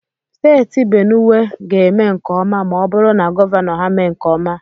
Steeti Benuwe ga-eme nke ọma ma ọ bụrụ na gọvanọ ha mee nke ọma.